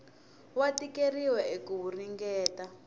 wa tikeriwa eka ku ringeta